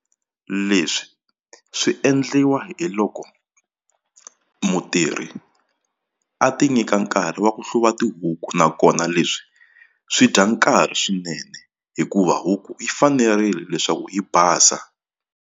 Leswi swi endliwa hi loko mutirhi a ti nyika nkarhi wa ku hluva tihuku nakona leswi swi dya nkarhi swinene hikuva huku yi fanerile leswaku yi basa.